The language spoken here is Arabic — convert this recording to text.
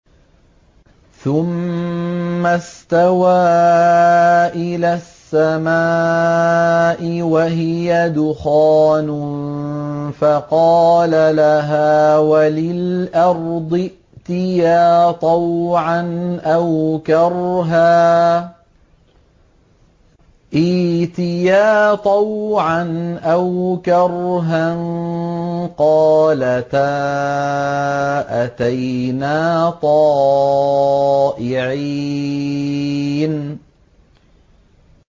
ثُمَّ اسْتَوَىٰ إِلَى السَّمَاءِ وَهِيَ دُخَانٌ فَقَالَ لَهَا وَلِلْأَرْضِ ائْتِيَا طَوْعًا أَوْ كَرْهًا قَالَتَا أَتَيْنَا طَائِعِينَ